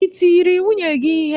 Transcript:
I tiri nwunye gị ihe?